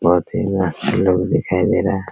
बहुत ही लोग दिखाई दे रहा है।